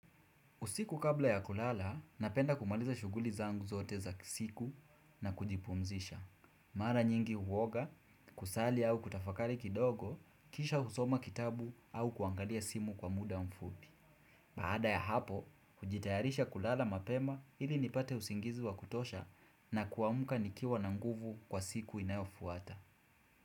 Usiku kabla ya kulala, napenda kumaliza shughuli zangu zote za siku na kujipumzisha. Mara nyingi huoga, kusali au kutafakari kidogo, kisha husoma kitabu au kuangalia simu kwa muda mfupi. Baada ya hapo, hujitayarisha kulala mapema ili nipate usingizi wa kutosha na kuamka nikiwa na nguvu kwa siku inayofuata.